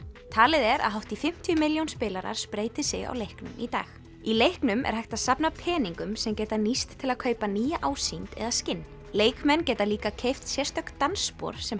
talið er að hátt í fimmtíu milljón spilarar spreyti sig á leiknum í dag í leiknum er hægt að safna peningum sem geta nýst til að kaupa nýja ásýnd eða skinn leikmenn geta líka keypt sérstök dansspor sem